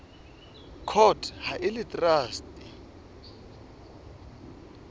court ha e le traste